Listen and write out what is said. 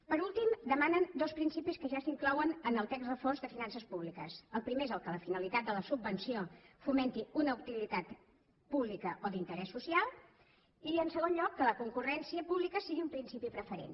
per últim demanen dos principis que ja s’inclouen en el text refós de finances públiques el primer és que la finalitat de la subvenció fomenti una utilitat pública o d’interès social i en segon lloc que la concurrència pública sigui un principi preferent